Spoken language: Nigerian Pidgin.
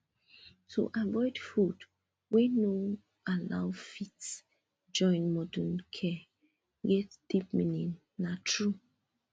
to dey avoid food wey no allow fit join modern care get deep meaning na true